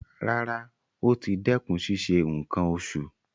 Rárá, ó ti dẹ́kun ṣíṣe nǹkan oṣù.